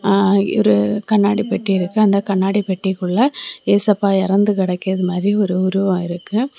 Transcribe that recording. ஆ இங்கரு கண்ணாடி பெட்டி இருக்கு அந்த கண்ணாடி பெட்டிகுள்ள ஏசப்பா எறந்துகிடக்குது மாதிரி ஒரு உறுவோ இருக்கு.